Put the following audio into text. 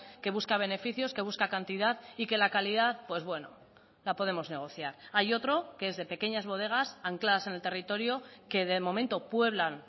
que busca beneficios que busca cantidad y que la calidad pues bueno la podemos negociar hay otro que es de pequeñas bodegas ancladas en el territorio que de momento pueblan